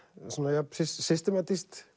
jafn systematískt